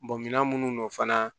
minan minnu fana